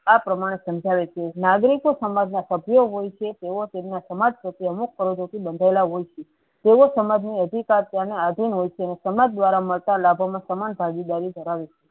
આ પ્રમાણે સમજાવે છે નાગરિકો સમાજ ના સભ્ય હોય છે તેવો તેનું સમાજ પ્રતિ અમુક પર્વ થી બંધાયેલા હોય છે તેવો સમાજ ની અધિકાર તેના આધિન હોય છે અને સમાજ દ્વારા મળતા લાભો મા સમાન ભાગી દારી ધરાવે